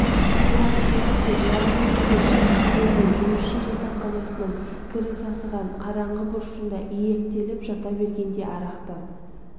ұят-сұят деп жарық дүниеге шыққысы келмей жұмысшы жатақханасының кірі сасыған қараңғы бұрышында илектеліп жата бергенде арақтан